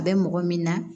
A bɛ mɔgɔ min na